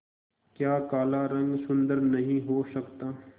क्या काला रंग सुंदर नहीं हो सकता